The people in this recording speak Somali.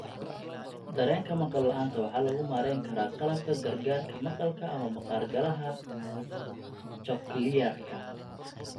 Dareenka maqal la'aanta waxaa lagu maareyn karaa qalabka gargaarka maqalka ama maqaar-galaha cochlearka.